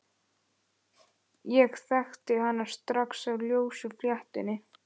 Ég þekkti hana strax á ljósu fléttunni.